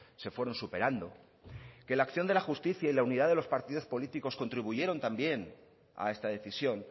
se fueron superando que la acción de la justicia y la unidad de los partidos políticos contribuyeron también a esta decisión